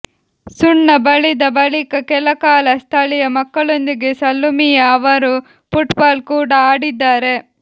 ಸುಣ್ಣ ಬಳಿದ ಬಳಿಕ ಕೆಲಕಾಲ ಸ್ಥಳೀಯ ಮಕ್ಕಳೊಂದಿಗೆ ಸಲ್ಲುಮಿಯಾ ಅವರು ಫುಟ್ಬಾಲ್ ಕೂಡ ಆಡಿದ್ದಾರೆ